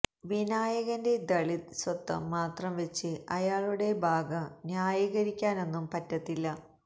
വിനായകന്റെ ദളിത് സ്വത്വം മാത്രം വെച്ച് അയാളുടെ ഭാഗം ന്യായീകരിക്കാനൊന്നും പറ്റത്തില്ല